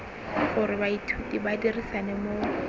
gore baithuti ba dirisane mo